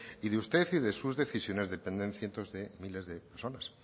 y de usted y de sus decisiones dependen cientos de miles de personas